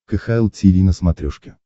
кхл тиви на смотрешке